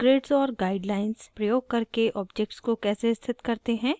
* grids और guide lines प्रयोग करके objects को कैसे स्थित करते हैं